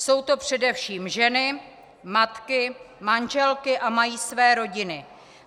Jsou to především ženy, matky, manželky a mají své rodiny.